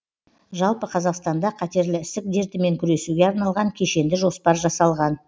жалпы қазақстанда қатерлі ісік дертімен күресуге арналған кешенді жоспар жасалған